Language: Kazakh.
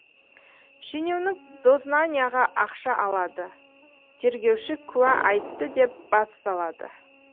шенеунік дознанияға ақша алады тергеуші куә айтты деп бас салады